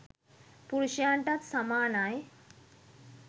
පුරුෂයින්ටත් සමානයි.